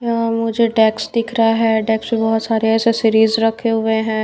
मुझे डेक्स दिख रहा है डेक्स पे बहुत सारे एसेसरीज रखे हुए हैं।